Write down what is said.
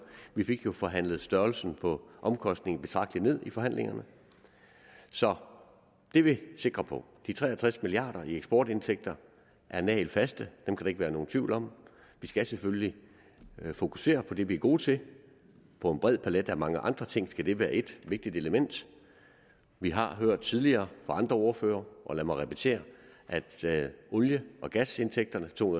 vi fik jo forhandlet størrelsen på omkostningen betragtelig ned i forhandlingerne så det er vi sikre på de tre og tres milliard kroner i eksportindtægter er nagelfaste dem kan der ikke være nogen tvivl om vi skal selvfølgelig fokusere på det vi er gode til på en bred palet af mange andre ting skal det være et vigtigt element vi har hørt tidligere fra andre ordførere og lad mig repetere at olie og gasindtægterne er to